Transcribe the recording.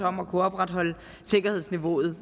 om at kunne opretholde sikkerhedsniveauet